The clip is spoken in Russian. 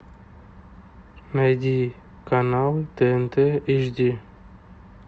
найди канал тнт эйч ди